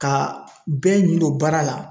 Ka bɛɛ ɲin don baara la.